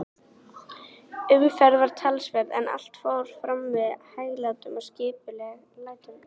Umferð var talsverð, en allt fór fram með hæglátum og skipulegum hætti.